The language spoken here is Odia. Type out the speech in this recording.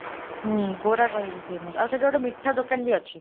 ହୁଁ , କୋରାଖଇ ବି famous, ଆଉ ସେଠି ଗୋଟେ ମିଠା ଦୋକାନ ବି ଅଛି।